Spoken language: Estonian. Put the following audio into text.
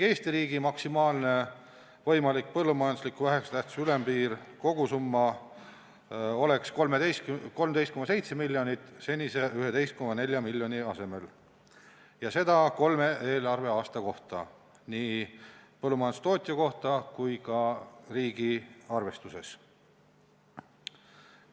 Eesti riigi maksimaalne võimalik põllumajandusliku vähese tähtsusega abi kogusumma ülempiir oleks 13,7 miljonit senise 11,4 miljoni asemel ja seda kolme eelarveaasta kohta nii põllumajandustootja kui ka riigi arvestuses.